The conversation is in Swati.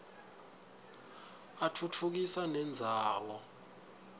atfutfukisa nendzawo